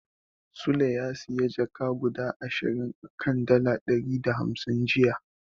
Sule ya siyo jaka guda ashirin a kan dala ɗari da hamsin jiya.